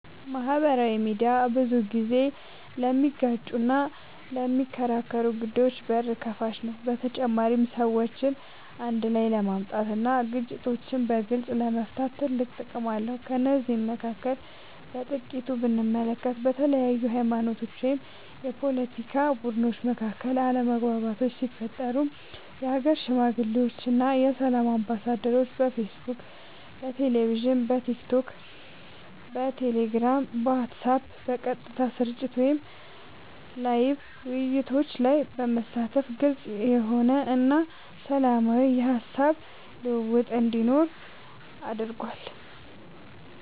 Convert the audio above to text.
ማህበራዊ ሚድያ ብዙ ጊዜ ለሚጋጩና ለሚከራከሩ ጉዳዮች በር ከፋች ነው በተጨማሪም ሰዎችን አንድ ላይ ለማምጣት እና ግጭቶችን በግልፅ ለመፍታት ትልቅ ጥቅም አለው ከነዚህም መካከል በጥቂቱ ብንመለከት በተለያዩ ሀይማኖቶች ወይም የፓለቲካ ቡድኖች መካከል አለመግባባቶች ሲፈጠሩ የሀገር ሽማግሌዎች እና የሰላም አምባሳደሮች በፌስቡክ በቴሌቪዥን በቲክቶክ በቴሌግራም በዋትስአብ በቀጥታ ስርጭት ወይም ላይቭ ውይይቶች ላይ በመሳተፍ ግልፅ የሆነ እና ሰላማዊ የሀሳብ ልውውጥ እንዲኖር አድርጓል።